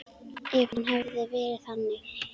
Ef hann hefði verið þannig.